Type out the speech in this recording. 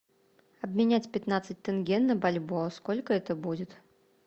обменять пятнадцать тенге на бальбоа сколько это будет